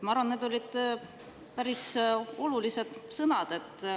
Ma arvan, et need olid päris olulised sõnad.